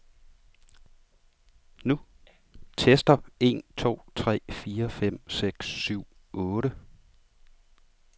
Tester en to tre fire fem seks syv otte.